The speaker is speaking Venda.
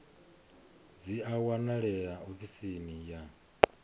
dzi a wanalea ofisini ya